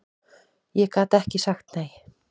Ég gat ekki sagt nei.